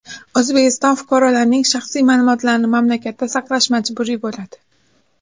O‘zbekiston fuqarolarining shaxsiy ma’lumotlarini mamlakatda saqlash majburiy bo‘ladi.